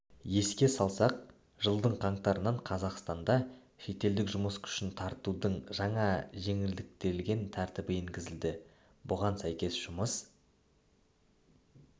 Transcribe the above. еске салсақ жылдың қаңтарынан қазақстанда шетелдік жұмыс күшін тартудың жаңа жеңілдетілген тәртібі енгізілді бұған сәйкес жұмыс